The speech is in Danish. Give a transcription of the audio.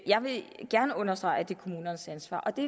jeg vil gerne understrege at det er kommunernes ansvar og det